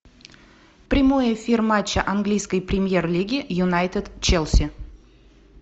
прямой эфир матча английской премьер лиги юнайтед челси